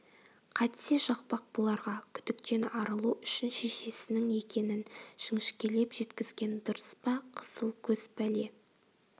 қайтсе жақпақ бұларға күдіктен арылу үшін шешесінің екенін жіңішкелеп жеткізген дұрыс па қызыл көз пәле